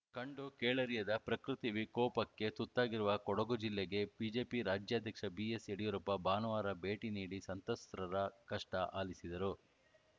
ಕಂಡು ಕೇಳರಿಯದ ಪ್ರಕೃತಿ ವಿಕೋಪಕ್ಕೆ ತುತ್ತಾಗಿರುವ ಕೊಡಗು ಜಿಲ್ಲೆಗೆ ಬಿಜೆಪಿ ರಾಜ್ಯಾಧ್ಯಕ್ಷ ಬಿಎಸ್‌ ಯಡಿಯೂರಪ್ಪ ಭಾನುವಾರ ಭೇಟಿ ನೀಡಿ ಸಂತ್ರಸ್ತರ ಕಷ್ಟಆಲಿಸಿದರು